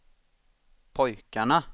pojkarna